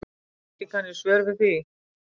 Ekki kann ég svör við því.